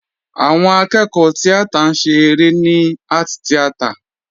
Àwọn akẹ́kọ̀ọ́ tíátà ń ṣe eré ní art theater.